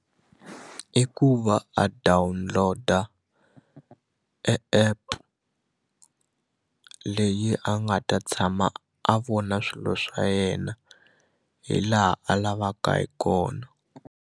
I ku i ku va a download-a e app leyi a nga ta tshama a vona swilo swa yena hi laha a lavaka hi kona.